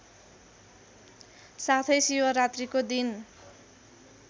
साथै शिवरात्रीको दिन